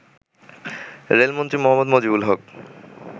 রেলমন্ত্রী মোঃ মুজিবুল হক